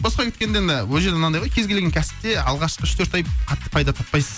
босқа кеткенде енді ол жерде мынандай ғой кез келген кәсіпте алғашқы үш төрт ай қатты пайда таппайсыз